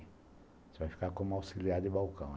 Você vai ficar como auxiliar de balcão.